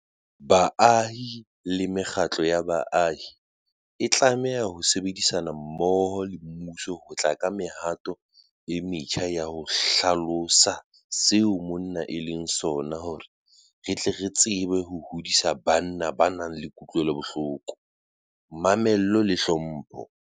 Baahi le mekgatlo ya baahi e tlameha ho sebedisana mmoho le mmuso ho tla ka mehato e metjha ya ho hlalosa seo monna e leng sona hore re tle re tsebe ho hodisa banna ba nang le kutlwelobohloko, mamello le tlhompho.